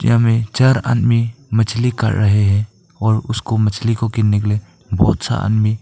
यहां में चार आदमी मछली काट रहे है और उसको मछली को किनने के लिए बहौत सा आदमी--